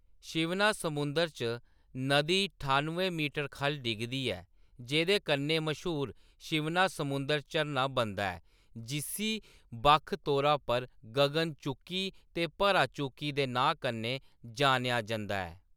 शिवना समुंदर च नदी ठाुनुएं मीटर खʼल्ल डिगदी ऐ, जेह्‌‌‌दे कन्नै मश्हूर शिवनासमुंदर झरना बनदा ऐ जिस्सी बक्ख तौर पर गगन चुक्की ते भरा चुक्की दे नांऽ कन्नै जानेआ जंदा ऐ।